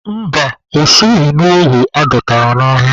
Mba, o soghi n'ohu adọtara n'agha.